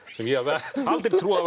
ég hefði aldrei trúað